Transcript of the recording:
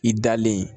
I dalen